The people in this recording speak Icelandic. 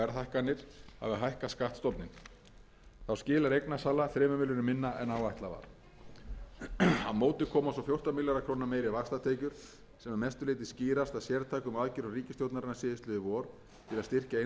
hækkað skattstofninn þá skilar eignasala þremur milljörðum minna en áætlað var á móti koma svo fjórtán milljarða króna meiri vaxtatekjur sem að mestu leyti skýrast af sértækum aðgerðum ríkisstjórnarinnar síðastliðið vor til að styrkja innlendan fjármálamarkað og gjaldeyrisvaraforða með því að taka lán sem